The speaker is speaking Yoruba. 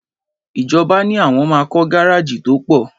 Ìjọbà ní àwon mà kọ gàrájì tọ pọ̀